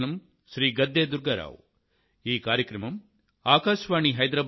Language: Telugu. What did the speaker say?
మీకివే నా ధన్యవాదాలు